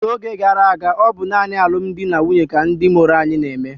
n'oge gara aga, ọ bụ naanị n'alụmdi na nwunye ka ndị mụrụ anyị na-eme